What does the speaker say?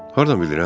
Hardan bilirəm?